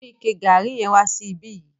Mu ike garri yẹn wá sí ìbi yìí.